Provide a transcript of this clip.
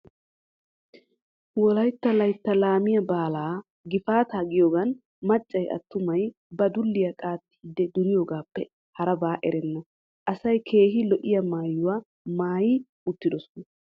Wolaytta layttaa laamiyaa baalaa gifaataa giyoogaan maccay attumay ba dulliyaa qaattiidi duriyoogaappe harabaa erenna. Asay keehi lo"iyaa maayuwaa maayi uttidoosona.